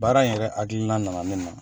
Baara in yɛrɛ hakililan na na ne na.